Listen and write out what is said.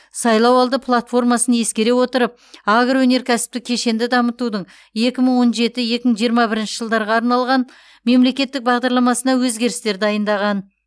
сайлауалды платформасын ескере отырып агроөнеркәсіптік кешенді дамытудың екі мың он жеті екі мың жиырма бірінші жылдарға арналған мемлекеттік бағдарламасына өзгерістер дайындаған